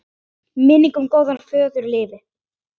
Minning um góðan föður lifir.